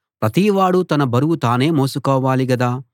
ప్రతివాడూ తన బరువు తానే మోసుకోవాలి గదా